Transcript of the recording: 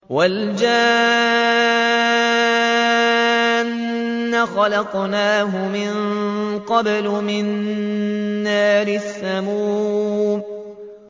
وَالْجَانَّ خَلَقْنَاهُ مِن قَبْلُ مِن نَّارِ السَّمُومِ